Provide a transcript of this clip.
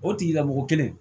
O tigilamɔgɔ kelen